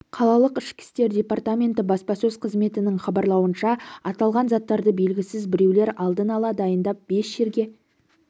қалалық ішкі істер департаменті баспасөз қызметінің хабарлауынша аталған заттарды белгісіз біреулер алдын ала дайындап бес жерге